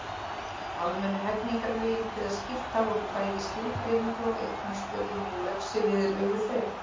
Almennu hegningarlögin kveða skýrt á um bæði skilgreiningu á eignaspjöllum og refsiviðurlög við þeim.